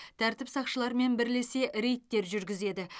тәртіп сақшыларымен бірлесе рейдтер жүргізеді